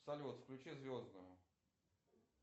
салют включи звездную